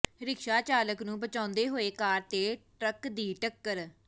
rickshaw ਚਾਲਕ ਨੂੰ ਬਚਾਉਂਦੇ ਹੋਏ ਕਾਰ ਤੇ ਟਰੱਕ ਦੀ ਟੱਕਰ